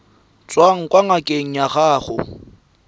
tswang kwa ngakeng ya gago